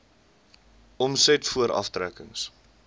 omset voor aftrekkings